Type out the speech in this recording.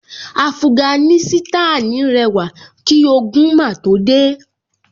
Afuganísítànì rẹwà kí ogun máa tó dé